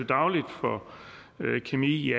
dagligt for kemi i